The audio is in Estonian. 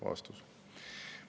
" Vastus.